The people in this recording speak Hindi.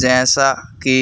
जैसा कि